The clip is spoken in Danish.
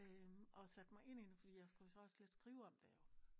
Øh og satte mig ind i det fordi jeg skulle så også lidt skrive om det jo